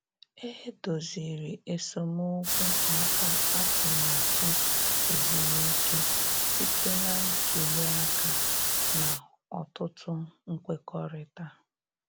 E doziri esemokwu maka atụmatụ ezumike site na ntuli aka na ọtụtụ nkwekọrịta.